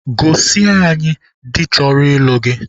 Gosi anyị di chọrọ ịlụ gị!